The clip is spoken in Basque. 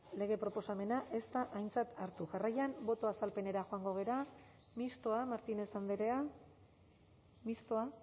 lege proposamena ez da aintzat hartu jarraian botoa azalpenera joango gara mistoa martínez andrea mistoa